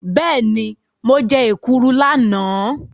Bẹ́ẹ̀ni, mo jẹ́ èkuru lánàá.